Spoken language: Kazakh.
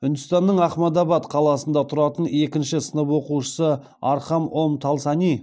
үндістанның ахмадабад қаласында тұратын екінші сынып оқушысы